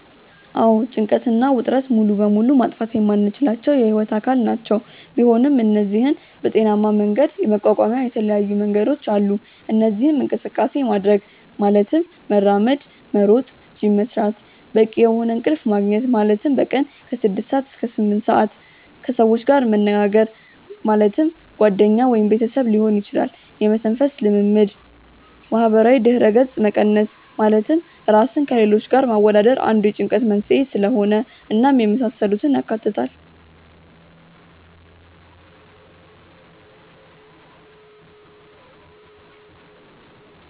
አዎ ጭንቀት እና ውጥረት ሙሉ በሙሉ ማጥፋት የማንችላቸው የህይወት አካል ናቸው፤ ቢሆን እነዚህን በጤናሜ መንገድ የመቋቋሚያ የተለያዩ መንገዶች አሉ። እነዚህም እንቅስቃሴ ማድረግ( መራመድ፣ መሮጥ፣ ጂም መስራት)፣ በቂ የሆነ እንቅልፍ መግኘት( በቀን ከ6-8ሰአት)፣ ከሰዎች ጋር መነጋገር( ጓደኛ ወይም ቤተሰብ ሊሆን ይችላል)፣ የመተንፈስ ልምምድ፣ ማህበራዊ ድረገጽ መቀነስ( ራስን ከሌሎች ጋር ማወዳደር አንዱ የጭንቀት መንስኤ ስለሆነ) እናም የመሳሰሉትን ያካትታል።